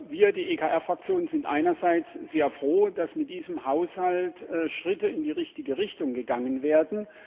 Wir, die EKR Fraktion, sind einerseits sehr froh, dass mit diesem Haushalt Schritte in die richtige Richtung gegangen werden.